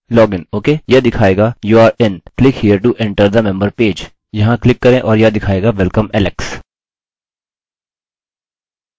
Login okay यह दिखायेगा youre in! Member page में एंटर के लिए यहाँ क्लिक करें यहाँ क्लिक करें और यह दिखायेगा welcome alex!